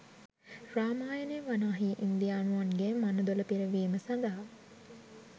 රාමායනය වනාහි ඉන්දියානුවන්ගේ මනදොල පිරවීම සඳහා